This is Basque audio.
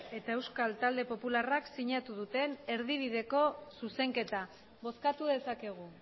eta euskal talde popularrak sinatu duten erdibideko zuzenketa bozkatu dezakegu